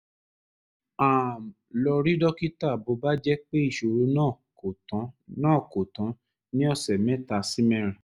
um lọ rí dókítà bó bá jẹ́ pé ìṣòro náà kò tán náà kò tán ní ọ̀sẹ̀ mẹ́ta sí mẹ́rin